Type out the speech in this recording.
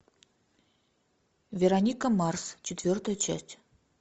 вероника марс четвертая часть